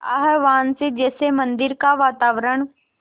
आह्वान से जैसे मंदिर का वातावरण